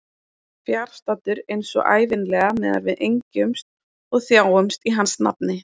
Fjarstaddur eins og ævinlega meðan við engjumst og þjáumst í hans nafni.